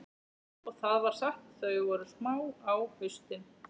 Og það var satt, þau voru smá á haustin.